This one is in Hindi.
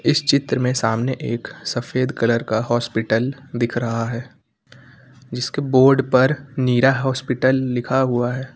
इस चित्र में सामने एक सफेद कलर का हॉस्पिटल दिख रहा है जिसके बोर्ड पर नीरा हॉस्पिटल लिखा हुआ है।